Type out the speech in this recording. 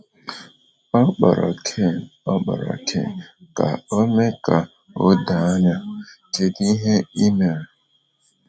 Ọ kpọrọ Ken Ọ kpọrọ Ken ka o mee ka o doo anya: “Kedu ihe i mere?”